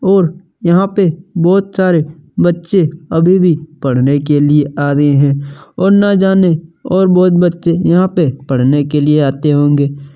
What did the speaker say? और यहाँ पे बहुत सारे बच्चे अभी भी पढ़ने के लिए आ रहे हैं और न जाने और बहुत बच्चे यहाँ पे पढ़ने के लिए आते होंगे।